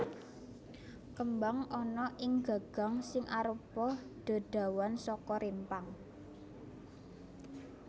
Kembang ana ing gagang sing arupa dedawan saka rimpang